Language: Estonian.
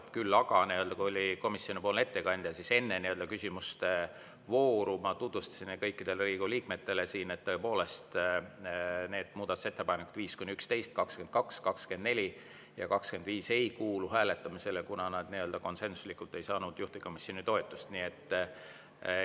Küll aga, kui siin oli komisjonipoolne ettekandja, siis enne küsimuste vooru ma tutvustasin kõikidele Riigikogu liikmetele, et tõepoolest, muudatusettepanekud 5–11, 22, 24 ja 25 ei kuulu hääletamisele, kuna nad ei saanud juhtivkomisjoni konsensuslikku toetust.